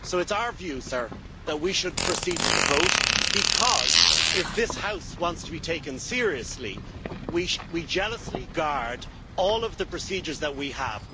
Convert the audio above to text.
So it is our view that we should proceed with the vote because, if this House wants to be taken seriously, we should jealously guard all of the procedures that we have.